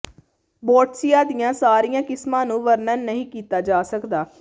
ਬੋਟਸਿਆ ਦੀਆਂ ਸਾਰੀਆਂ ਕਿਸਮਾਂ ਨੂੰ ਵਰਣਨ ਨਹੀਂ ਕੀਤਾ ਜਾ ਸਕਦਾ